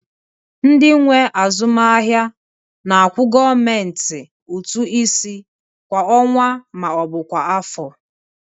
Ndị nwe azụmaahịa na-akwụ gọọmentị ụtụ isi kwa ọnwa ma ọ bụ kwa afọ